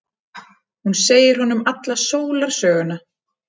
Hún segir honum alla sólarsöguna.